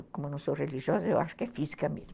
Como eu não sou religiosa, eu acho que é física mesmo.